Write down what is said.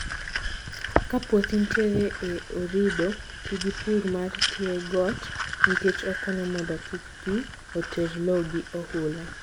Kapuothi ntiere e orido, tii gi purr mar tiegot nikech okonyo mondo kik pii oterr loo gi ohula.